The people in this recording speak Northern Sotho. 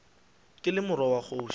ke le morwa wa kgoši